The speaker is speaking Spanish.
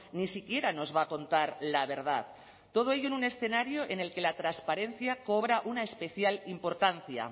ni siquiera nos va a contar la verdad todo ello en un escenario en el que la transparencia cobra una especial importancia